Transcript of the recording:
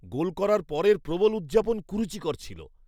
গোল করার পরের প্রবল উদযাপন কুরুচিকর ছিল।